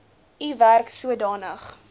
u werk sodanig